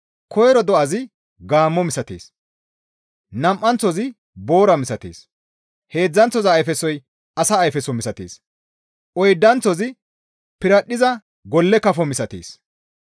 Koyro do7azi gaammo misatees; nam7anththozi boora misatees; heedzdzanththoza ayfesoy asa ayfeso misatees; oydanththozi piradhdhiza golle kafo misatees.